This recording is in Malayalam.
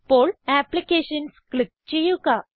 ഇപ്പോൾ അപ്ലിക്കേഷൻസ് ക്ലിക്ക് ചെയ്യുക